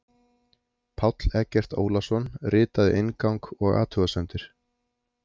Páll Eggert Ólason ritaði inngang og athugasemdir.